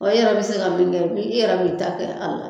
Ɔ i yɛrɛ bɛ se ka min kɛ bi i yɛrɛ b'i ta kɛ a la